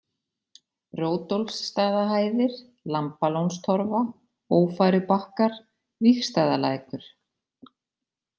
Rótólfsstaðahæðir, Lambalónstorfa, Ófærubakkar, Vígstaðalækur